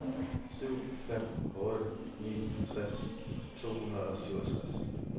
syv fem otte ni tres to hundrede og syvogtres